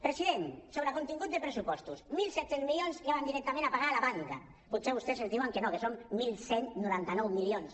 president sobre el contingut dels pressupostos mil set cents milions ja van directament a pagar la banca potser vostès ens diuen que no que són onze noranta nou milions